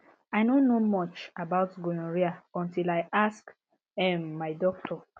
i no know much about gonorrhea until i ask um my doctor